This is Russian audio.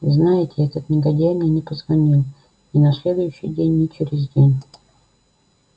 и знаете этот негодяй мне не позвонил ни на следующий день ни через день